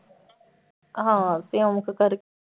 ਹਾਂ ਸਿਉਂਖ ਕਰ